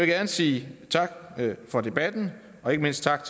gerne sige tak for debatten og ikke mindst tak